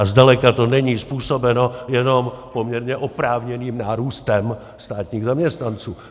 A zdaleka to není způsobeno jenom poměrně oprávněným nárůstem státních zaměstnanců.